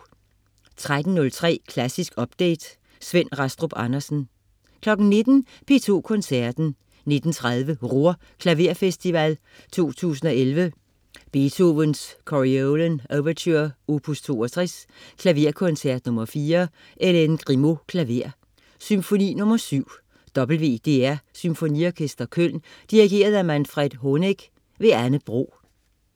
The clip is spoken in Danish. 13.03 Klassisk update. Svend Rastrup Andersen 19.00 P2 Koncerten. 19.30 Ruhr Klaverfestival 2011. Beethoven: Coriolan Ouverture, opus 62. Klaverkoncert nr. 4. Hélène Grimaud, klaver. Symfoni nr. 7. WDR Symfoniorkester Køln. Dirigent: Manfred Honeck. Anne Bro